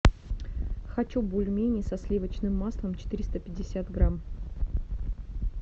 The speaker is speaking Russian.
хочу бульмени со сливочным маслом четыреста пятьдесят грамм